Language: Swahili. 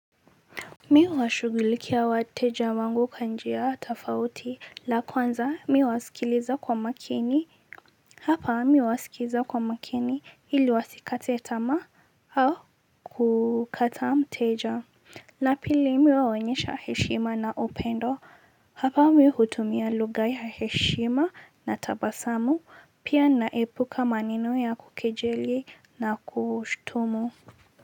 Mimi huwashughulikia wateja wangu kwanjia tofauti la kwanza mimi huwasikiliza kwa makini hapa mimi huwasikiliza kwa makini ili wasikateta ma au kukata mteja na pili mimi huwaonyesha heshima na upendo hapa mimihutumia lugha ya heshima na tabasamu pia naepuka maneno ya kukejeli na kushtumu.